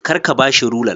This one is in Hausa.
Kar ka ba shi rular.